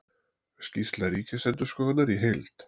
Skýrsla ríkisendurskoðunar í heild